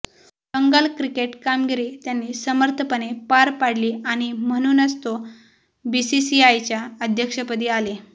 Bengal cricket कामगिरी त्यांनी सर्मथपणे पार पाडली आणि म्हणूनच तो बीसीसीआयच्या अध्यक्षपदी आले